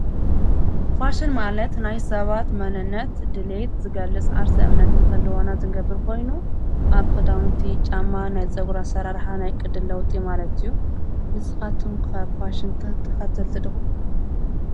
ፋሽን ማለት ናይ ሰባት መንነት ድልየት ዝገልጽ ዓርሲ እምነት ምኸልዋና ዘንገብር ኾይኑ ኣብ ክዳውንቲ ጫማ ናይ ዝጸጕራሠራርኃ ናይ ቕድለዉጢ ማለት እዩ ንስኻቱኩም ከብ ፋሽንተ ተኸትልቲ ደኹም